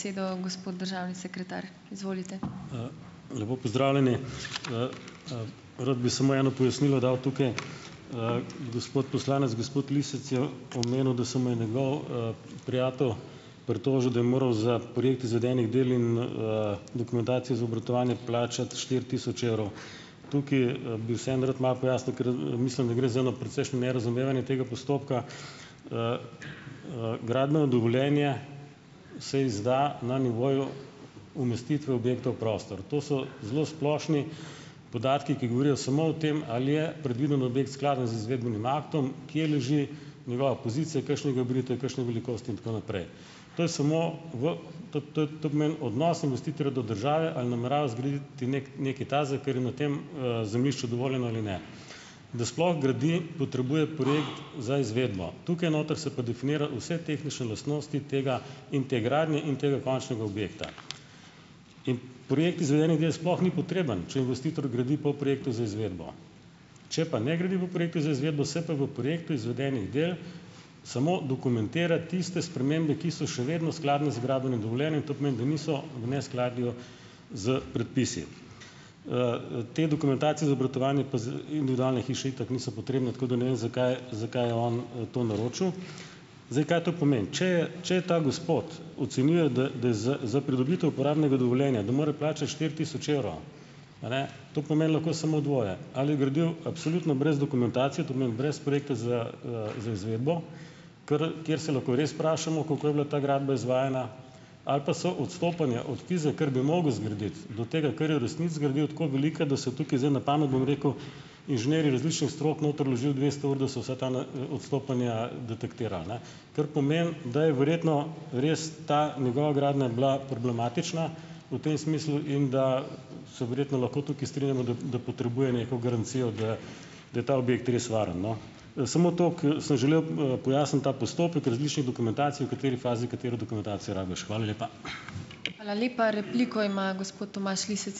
Lepo pozdravljeni! Rad bi samo eno pojasnilo dal tukaj. Gospod poslanec gospod Lisec je omenil, da se mu je njegov, prijatelj pritožil, da je moral za projekt izvedenih del in, dokumentacije za obratovanje plačati štiri tisoč evrov. Tukaj, bi vseeno rad malo pojasnil, ker, mislim, da gre za eno precejšnje nerazumevanje tega postopka. Gradbeno dovoljenje se izda na nivoju umestitve objekta v prostor. To so zelo splošni podatki, ki govorijo samo o tem, ali je predviden objekt skladen z izvedbenim aktom, kje leži njegova pozicija, kakšnega, razumljivo, kakšna je velikost in tako naprej. To je samo, v to to to pomeni odnos investitorja do države ali namerava zgraditi neki nekaj takega, kar je na tem, zemljišču dovoljeno ali ne. Da sploh gradi, potrebuje projekt za izvedbo. Tukaj noter se pa definira vse tehnične lastnosti tega - in te gradnje in tega končnega objekta. In projekt izvedenih del sploh ni potreben, če investitor gradi po projektu za izvedbo. Če pa ne gradi po projektu za izvedbo, se pa v projektu izvedenih del samo dokumentira tiste spremembe, ki so še vedno skladne z gradbenim dovoljenjem, to pomeni, da niso v neskladju s predpisi. Te dokumentacije za obratovanje pa za individualne hiše itak niso potrebne, tako da ne vem, zakaj zakaj je on, to naročil. Zdaj, kaj to pomeni. Če je - če ta gospod ocenjuje, da da je z za pridobitev uporabnega dovoljenja - da mora plačati štiri tisoč evrov. A ne. To pomeni lahko samo dvoje. Ali je gradil absolutno brez dokumentacije, to pomeni brez projekta za, za izvedbo - kar kjer se lahko res vprašamo, kako je bila ta zgradba izvajana, ali pa so odstopanja od tistega, kar bi mogel zgraditi, do tega, kar je v resnici zgradil, tako velika, da so tukaj zdaj, na pamet bom rekel, inženirji različnih strok noter vložili dvesto ur, da so vsa ta na, odstopanja, detektirali, ne. Kar pomeni, da je verjetno res ta njegova gradnja bila problematična v tem smislu in da se verjetno lahko tukaj strinjamo, da da potrebuje neko garancijo, da da je ta objekt res varno, no. Samo toliko, sem želel, pojasniti ta postopek različnih dokumentacij, v kateri fazi katero dokumentacijo rabiš. Hvala lepa.